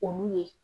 Olu ye